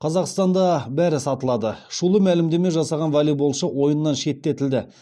қазақстанда бәрі сатылады шулы мәлімдеме жасаған волейболшы ойыннан шеттетілді